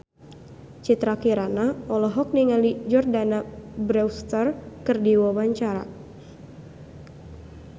Citra Kirana olohok ningali Jordana Brewster keur diwawancara